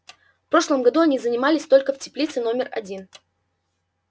в прошлом году они занимались только в теплице номер один